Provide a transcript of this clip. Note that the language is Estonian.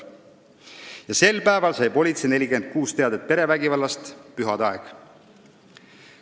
" Sel päeval sai politsei 46 teadet perevägivallast – oli pühade aeg.